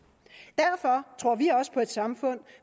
derfor tror vi også på et samfund